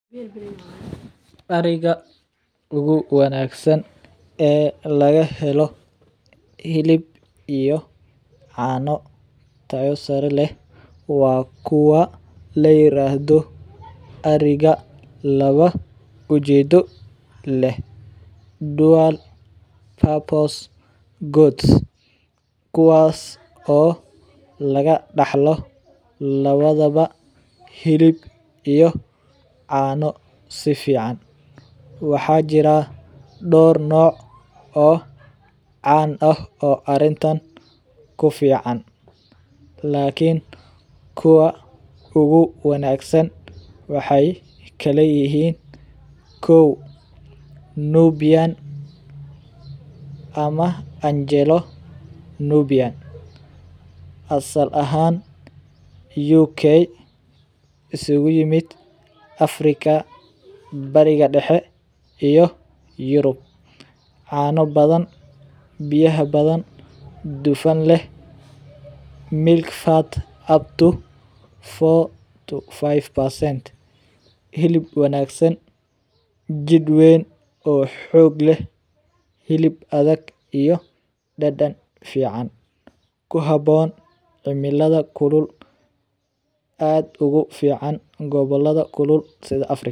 Ariga ugu wanagsan ee laga helo hilib iyo caano tayo sare leh waa kuwa la yiraahdo ariga laba ujeedo leh dual purpose goats kuwaas oo laga daxlo labadaba hilib iyo caano si fican waxaa jiraa door nooc oo arintan kufican lakin kuwa ugu wanagsan waxeey kala yihiin, kow, Nubian ama Angelo Nubian ,asal ahaan uk iskugu yimid Africa bariga dexe iyo Europe, caano badan, biyaha badan, dufan leh,[milk fat upto 4 to 5%hilib wanagsan, hilib adag iyo dadan fican kuhaboon gabolada kulul sida Africa.